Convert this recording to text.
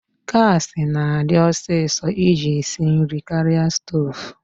Gaasi na-adi ọsịsọ iji esi nri karịa stoovu.